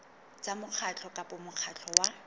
tsa mokgatlo kapa mokgatlo wa